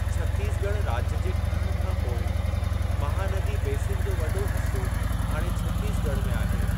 छत्तीसगढ़ राज्य जे ठहण खां पोइ, महानदी बेसिन जो वॾो हिस्सो हाणे छत्तीसगढ़ में आहे।